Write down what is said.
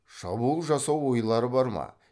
шабуыл жасау ойлары бар ма